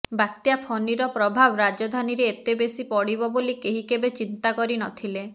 ବାତ୍ୟା ଫନିର ପ୍ରଭାବ ରାଜଧାନୀରେ ଏତେବେଶୀ ପଡିବ ବୋଲି କେହି କେବେ ଚିନ୍ତା କରି ନ ଥିଲେ